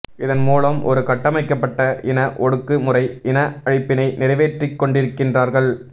இதன் மூலம் ஒரு கட்டமைக்கப்பட்ட இன ஒடுக்கு முறை இன அழிப்பினை நிறைவேற்றிக் கொண்டிருக்கின்றார்கள்